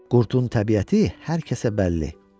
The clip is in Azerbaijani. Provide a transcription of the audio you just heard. Qurdun təbiəti hər kəsə bəlli.